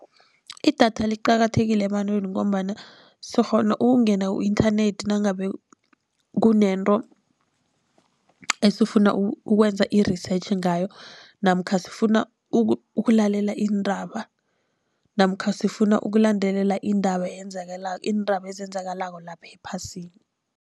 Idatha liqakathekile ebantwini, ngombana sikghona ukungena ku-inthanethi nangabe kunento esifuna ukwenza i-research ngayo. Namkha sifuna ukulalela iindaba, namkha sifuna ukulandelela indaba iindaba ezenzakalako lapha ephasini.